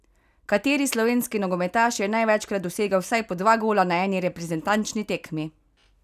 Kateri slovenski nogometaš je največkrat dosegel vsaj po dva gola na eni reprezentančni tekmi?